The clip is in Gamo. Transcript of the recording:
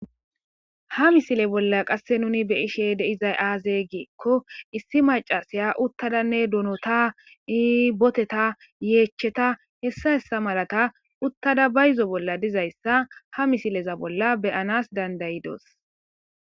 Ha missile bolla qasse nunni be'shshe dizzay azze gikko issi maccasiya uttadanne donnotta ee botteta yechatta hessa hessa malakka uttada bayzzo bolla dizayssa ha missile bolla beanass danda'doss.